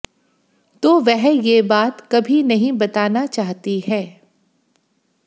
तो वह यह बात कभी नहीं बताना चाहती है